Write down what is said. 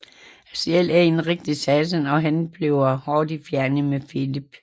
Aziel er en rigtig satan og han bliver hurtigt fjende med Filip